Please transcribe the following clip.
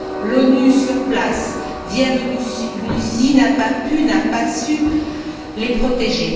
L'ONU sur place, via l'ONUCI, n'a pas pu, n'a pas su les protéger.